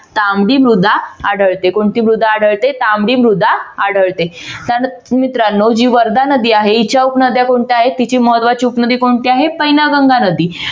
तांबडी मृदा आढळते. कोणती मृदा आढळते? तांबडी मृदा आढळते. त्यानंतर मित्रांनो जी वर्धा नदी आहे हिच्या उपनद्या कोणत्या आहेत तिची महत्वाची उपनदी कोणती आहे पैनगंगा नदी.